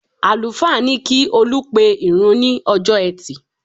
Àlùfáà ní kí Olú pe ìrun ní ọjọ́ ẹtì